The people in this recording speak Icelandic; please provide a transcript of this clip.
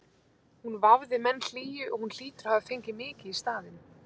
Hún vafði menn hlýju og hún hlýtur að hafa fengið mikið í staðinn.